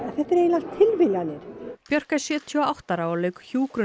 þetta eru eiginlega allt tilviljanir björk er sjötíu og átta ára og lauk